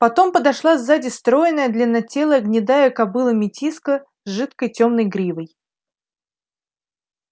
потом подошла сзади стройная длиннотелая гнедая кобыла метиска с жидкой тёмной гривой